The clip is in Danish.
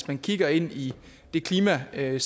man kigger ind i det klimascenarie